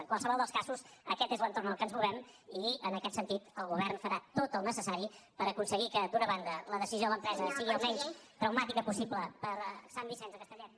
en qualsevol dels casos aquest és l’entorn en què ens movem i en aquest sentit el govern farà tot el que sigui necessari per aconseguir que d’una banda la decisió de l’empresa sigui al menys traumàtica possible per a sant vicenç de castellet